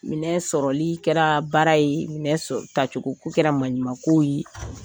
Minɛ sɔrɔli kɛra baara ye minɛ tacogoko kɛra manɲumanko